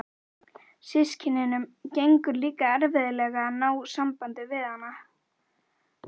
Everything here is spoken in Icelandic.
Systkinunum gengur líka erfiðlega að ná sambandi við hana.